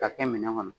K'a kɛ minɛn kɔnɔ